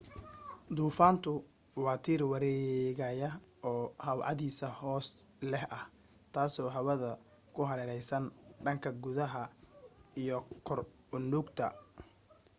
duufaantu waa tiir wareegaya oo how cadaadis hoose leh ah taasoo hawada ku hareeraysan dhanka gudaha iyo kor u nuugta